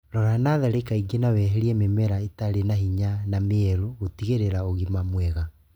Rora natharĩ kaingĩ na weherie mĩmera ĩtarĩ na hinya na mĩrwaru gũtigĩrĩra ũgima mwega